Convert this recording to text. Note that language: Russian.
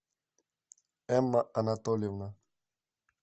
эмма анатольевна